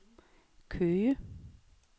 Køge